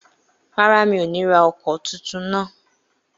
Rárá, mi ò ní ra ọkọ̀ tuntun náà